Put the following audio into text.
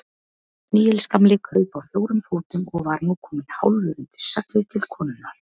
Níels gamli kraup á fjórum fótum og var nú kominn hálfur undir seglið til konunnar.